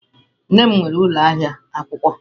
Nne m nwere ụlọ ahịa akwụkwọ.